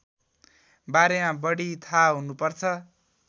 बारेमा बढी थाहा हुनुपर्छ